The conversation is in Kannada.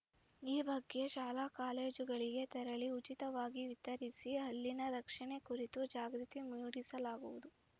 ಈ ಬಗ್ಗೆ ಶಾಲಾಕಾಲೇಜುಗಳಿಗೆ ತೆರಳಿ ಉಚಿತವಾಗಿ ವಿತರಿಸಿ ಹಲ್ಲಿನ ರಕ್ಷಣೆ ಕುರಿತು ಜಾಗೃತಿ ಮೂಡಿಸಲಾಗುವುದು